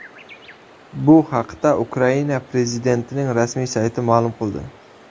Bu haqda Ukraina prezidentining rasmiy sayti ma’lum qildi .